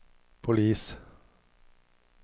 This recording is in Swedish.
polis